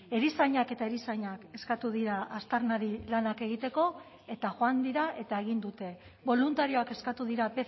erizainak eta erizainak eskatu dira aztarnari lanak egiteko eta joan dira eta egin dute boluntarioak eskatu dira